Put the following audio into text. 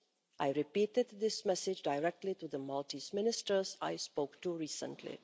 I repeated this message directly to the Maltese ministers I spoke to recently.